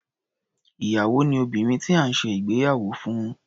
Ìyàwó ni obìnrin tí à ń ṣe ìgbéyàwó fún.